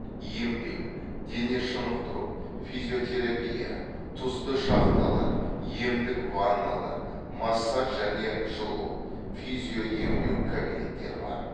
емдеу дене шынықтыру физиотерапия тұзды шахталар емдік ванналар массаж және жылу физиоемдеу кабинеттері бар